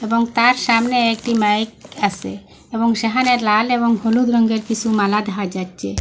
এবং তার সামনে একটি মাইক আসে এবং সেহানে লাল এবং হলুদ রঙ্গের কিসু মালা দেখা যাচ্চে।